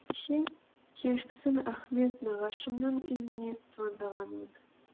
кеше кешкісін ахмет нағашымның үйіне звондағанмын